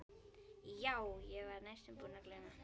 Já, ég var næstum búin að gleyma.